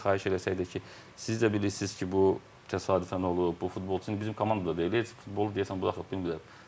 Nə qədər xahiş eləsəydik ki, siz də bilirsiz ki, bu təsadüfən olub, bu futbolçu bizim komandada deyil, heç futbolu deyəsən bu axı bilmirəm.